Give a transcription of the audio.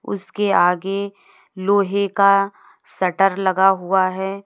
उसके आगे लोहे का शटर लगा हुआ है।